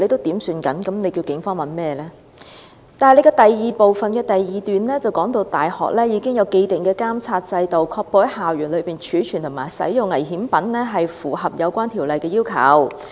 然而，局長又在主體答覆第二部分的第二段指出，"大學已經有既定的監察制度，確保在校園內貯存和使用危險品均符合有關條例的要求。